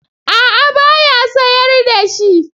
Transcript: A'a ba ya sayar da shi.